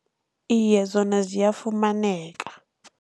Iye, zona ziyafumaneka.